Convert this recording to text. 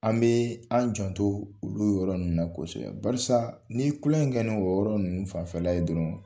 An bɛ an jan to olu yɔrɔ ninnu na kosɛbɛ barisa n'i ye kunlokɛ ni kɛ ni o yɔrɔ ninnu fanfɛla ye dɔrɔn